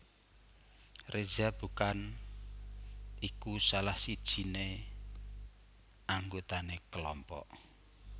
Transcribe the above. Reza bukan iku salah sijiné anggotané kelompok